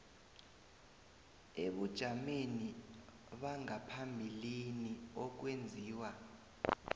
ebujameni bangaphambilini okwenziwa